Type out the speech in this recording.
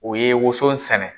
O ye woson sɛnɛ.